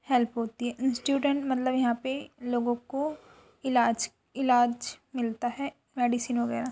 Help होती है। Student मतलब यहाँ पे लोगों को इलाज इलाज मिलता है। मेडिसिन वगैरह --